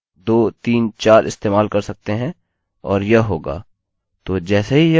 तो जैसे ही यह वेल्यू शून्य होगी यह एक के बराबर होगा